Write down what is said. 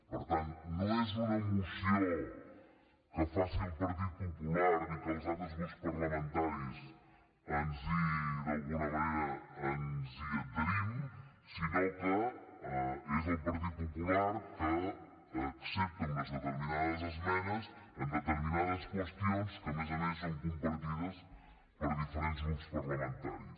per tant no és una moció que faci el partit popular i que els altres grups parlamentaris d’alguna manera ens hi adherim sinó que és el partit popular que accepta unes determinades esmenes en determinades qüestions que a més a més són compartides per diferents grups parlamentaris